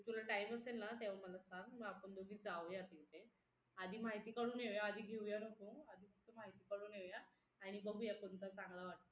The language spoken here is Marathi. तुला time असेल ना तेव्हा मला सांग मग आपण दोघी जाऊया तिथे आधी माहिती काढून येऊया आधी घेऊया नको आधी फक्त माहिती काढून येऊ या आणि बघूया कोणता चांगला वाटतोय तो